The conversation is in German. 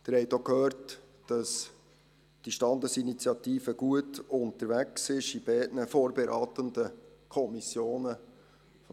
Sie haben auch gehört, dass diese Standesinitiative in beiden vorberatenden Kommissionen gut unterwegs ist.